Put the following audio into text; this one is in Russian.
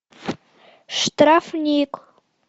штрафник